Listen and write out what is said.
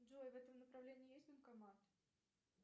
джой в этом направлении есть банкомат